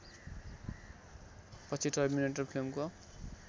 पछि टर्मिनेटर फिल्मको